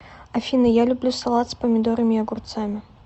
афина я люблю салат с помидорами и огурцами